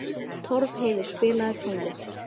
Torfheiður, spilaðu tónlist.